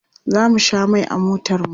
Za mu sha mai a motarmu.